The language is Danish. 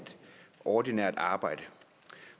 ordinært arbejde